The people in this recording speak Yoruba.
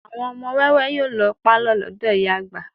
Àwọn ọmọ wẹ́wẹ́ yóò lọ pàlọ́ lọ́dọ̀ ìyá àgbà